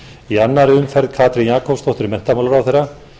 í annarri umferð katrín jakobsdóttir menntamálaráðherra